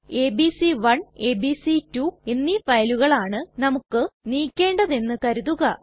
ABC one ABC two എന്നീ ഫയലുകളാണ് നമുക്ക് നീക്കേണ്ടത് എന്ന് കരുതുക